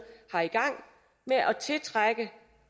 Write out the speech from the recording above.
har i gang med at tiltrække